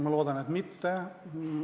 Ma loodan, et mitte.